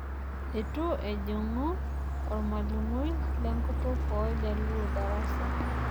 Eitu ejingu olmalimui lenkutuk ooljaluo darasa.